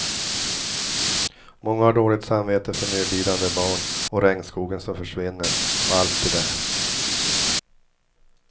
Många har dåligt samvete för nödlidande barn och regnskogen som försvinner och allt det där.